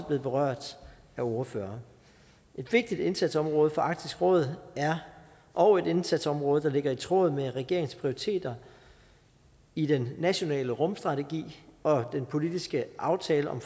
blevet berørt af ordførerne et vigtigt indsatsområde for arktisk råd og et indsatsområde der ligger i tråd med regeringens prioriteter i den nationale rumstrategi og den politiske aftale om